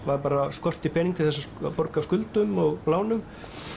skorti pening til að borga af skuldum og lánum